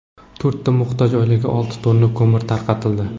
To‘rtta muhtoj oilaga olti tonna ko‘mir tarqatildi.